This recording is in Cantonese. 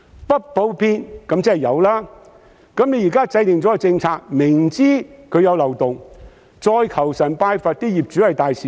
"不普遍"便是"有"，現在政府制訂政策，明知道有漏洞，卻求神拜佛希望業主都是大善人。